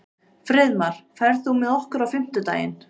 Friðmar, ferð þú með okkur á fimmtudaginn?